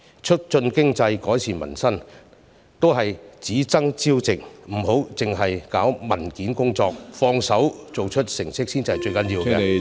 促進經濟，改善民生都是只爭朝夕，不要只搞文件工作，動手做出成績才是最重要......